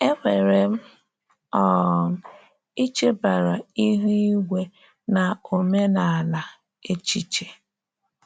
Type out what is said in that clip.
Enwere m um ichebara ihu igwe na omenala echiche?